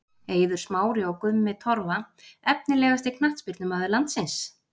Eiður Smári og Gummi Torfa Efnilegasti knattspyrnumaður landsins?